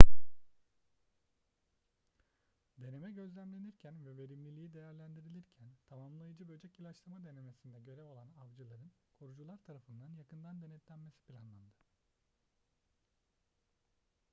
deneme gözlemlenirken ve verimliliği değerlendirilirken tamamlayıcı böcek ilaçlama denemesinde görev alan avcıların korucular tarafından yakından denetlenmesi planlandı